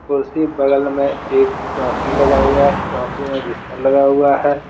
कुर्सी बगल में एक चौकी लगाया हुआ है चौकी में बिस्तर लगाया हुआ है।